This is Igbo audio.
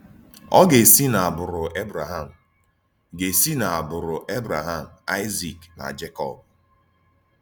Ọ̀ gà-èsí n’ágbụrụ Ébrèhàm, gà-èsí n’ágbụrụ Ébrèhàm, Àịzík, na Jékọb.